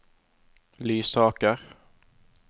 Lysaker